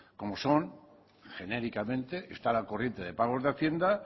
como son genéricamente estar al corriente de pagos de hacienda